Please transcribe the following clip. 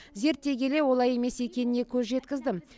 зерттей келе олай емес екеніне көз жеткіздім